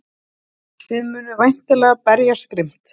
Þið munið væntanlega berjast grimmt?